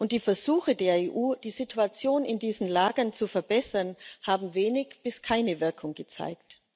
Die Versuche der EU, die Situation in diesen Lagern zu verbessern, haben wenig bis keine Wirkung gezeigt.